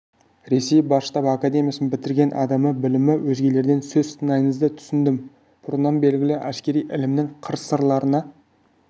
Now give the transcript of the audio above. ресей бас штабы академиясын бітірген адамның білімі өзгелерден сөз сыңайыңызды түсіндім бұрыннан белгілі әскери ілімнің қыр-сырларына